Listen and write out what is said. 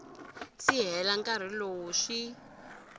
si hela nkarhi lowu swi